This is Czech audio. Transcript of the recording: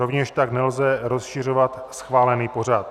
Rovněž tak nelze rozšiřovat schválený pořad.